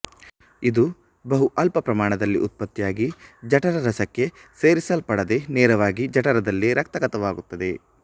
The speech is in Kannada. ಇದು ಬಹು ಅಲ್ಪ ಪ್ರಮಾಣದಲ್ಲಿ ಉತ್ಪತ್ತಿಯಾಗಿ ಜಠರರಸಕ್ಕೆ ಸೇರಿಸಲ್ಪಡದೆ ನೇರವಾಗಿ ಜಠರದಲ್ಲೇ ರಕ್ತಗತವಾಗುತ್ತದೆ